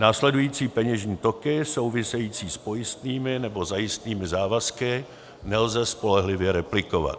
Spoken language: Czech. Následující peněžní toky související s pojistnými nebo zajistnými závazky nelze spolehlivě replikovat: